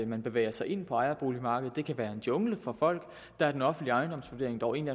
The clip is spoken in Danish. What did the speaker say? man bevæger sig ind på ejerboligmarkedet og det kan være en jungle for folk og der er den offentlige ejendomsvurdering dog en